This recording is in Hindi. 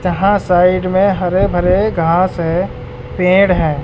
जहां साइड में हरे भरे घास है पेड़ है।